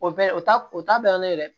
O bɛɛ o ta o ta banna ne ye dɛ